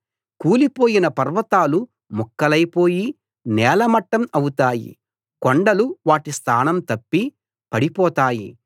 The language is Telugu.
కూలిపోయిన పర్వతాలు ముక్కలైపోయి నేలమట్టం అవుతాయి కొండలు వాటి స్థానం తప్పి పడిపోతాయి